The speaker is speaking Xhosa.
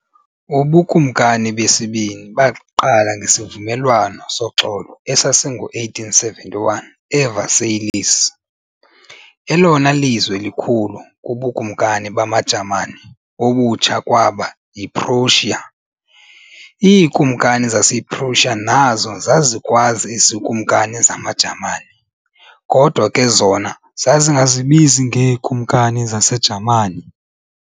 UbuKumkani besibini baqala ngesivumelwano soxolo esasingo-1871 e-Versailles. elona lizwe likhulu kubuKumkani bamaJamani obutsha kwaba yi-Prussia. IiKumkani zasePrussia nazo zazikwaz"iziKumkani zamaJamani", kodwa ke zona zazingazibizi ngee"Kumkani zas"eJamani".